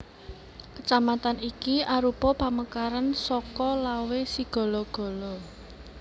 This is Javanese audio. Kecamatan iki arupa pamekaran saka Lawe Sigala gala